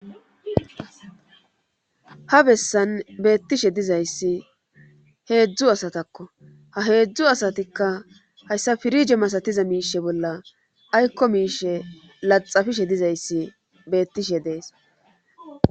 ha bessan beettishe dizayssi heedzdzu asatakko ha heedzdzu asatikka hayssa pirije masatiza miishe bolla aykko miishe laxafishe dizayssi beettishe dees